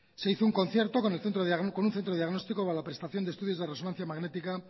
se hizo un concierto con un centro de diagnóstico para la prestación de estudios de resonancia magnética